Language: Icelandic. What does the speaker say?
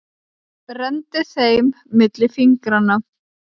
Renndi þeim milli fingranna.